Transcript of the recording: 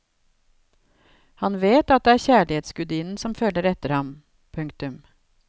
Han vet at det er kjærlighetsgudinnen som følger etter ham. punktum